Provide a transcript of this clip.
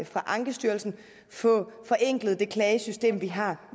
fra ankestyrelsen få forenklet det klagesystem vi har